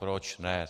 Proč ne.